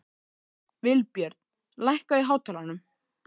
Vilbjörn, lækkaðu í hátalaranum.